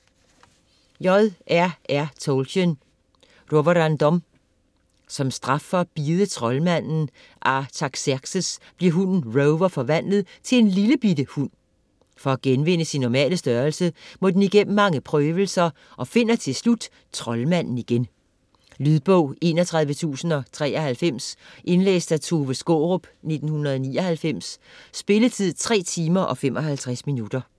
Tolkien, J. R. R.: Roverandom Som straf for at bide troldmanden Artaxerxes bliver hunden Rover forvandlet til en lillebitte hund. For at genvinde sin normale størrelse må den igennem mange prøvelser og finder til slut troldmanden igen. Lydbog 31093 Indlæst af Tove Skaarup, 1999. Spilletid: 3 timer, 55 minutter.